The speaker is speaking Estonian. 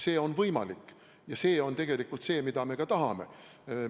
See on võimalik ja see on tegelikult see, mida me tahame.